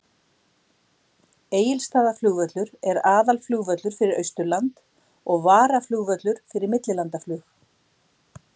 Egilsstaðaflugvöllur er aðalflugvöllur fyrir Austurland og varaflugvöllur fyrir millilandaflug.